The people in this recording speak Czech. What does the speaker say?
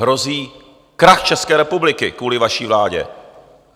Hrozí krach České republiky kvůli vaší vládě!